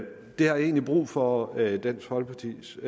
egentlig brug for at høre dansk folkepartis